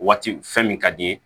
Waati fɛn min ka di i ye